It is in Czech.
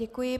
Děkuji.